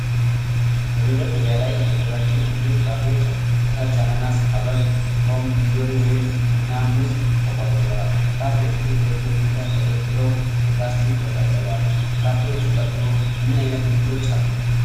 በመደርደሪያ ላይ የተደራጁ ብዙ ፍራፍሬዎች አሉ። ከታች አናናስ፣ ሐብሐብ፣ ፖም፣ እንጆሪ፣ ወይን እና ሙዝ ተቆልለዋል። ፍራፍሬዎቹ በጥሩ ሁኔታ ተደርድረው በፕላስቲክ ተጠቅልለዋል። ከፍራፍሬዎቹ ቀጥሎ ምን ዓይነት ምርቶች አሉ?